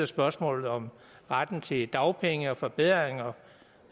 spørgsmålet om retten til dagpenge og forbedringer